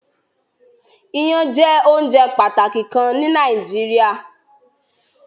Ìyan jẹ ounjẹ pataki kan ni Nàìjíríà